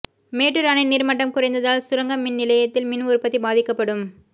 மேட்டூர் அணை நீர்மட்டம் குறைந்ததால் சுரங்க மின் நிலையத்தில் மின் உற்பத்தி பாதிக்கப்படும்